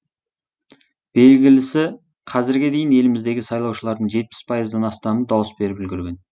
белгілісі қазірге дейін еліміздегі сайлаушылардың жетпіс пайыздан астамы дауыс беріп үлгерген